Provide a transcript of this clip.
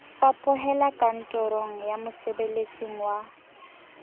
fapohela kantorong ya mosebeletsing wa